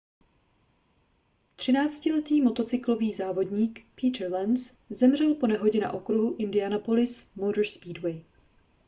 třináctiletý motocyklový závodník peter lenz zemřel po nehodě na okruhu indianapolis motor speedway